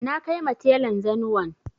Na kaima telan zanuwan